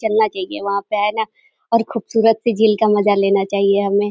चलना चाहिए वहाँ पे है ना और खूबसूरत सी झील का मजा लेना चाहिए हमें।